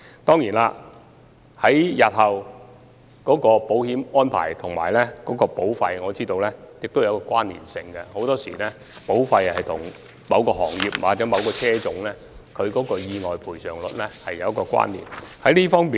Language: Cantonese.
當然，我知道日後的保險安排與保費是有關連性的，保費與某個行業或某個車種的意外賠償率很多時候有關連。